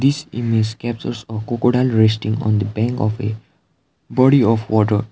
this image captures a crocodile resting on the bank of a body of water.